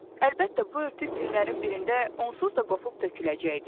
Əlbəttə, bu örtük günlərin birində onsuz da qopup töküləcəkdi.